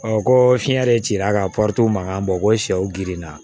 ko fiɲɛ de cira ka mankan bɔ ko sɛw girinna